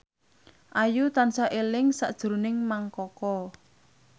Ayu tansah eling sakjroning Mang Koko